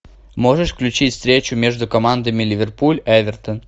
можешь включить встречу между командами ливерпуль эвертон